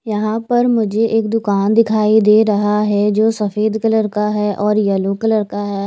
यहा पर मुझे एक दुकान दिखाई दे रहा हे जो सफ़ेद कलर का हे और येलो कलर का हैं।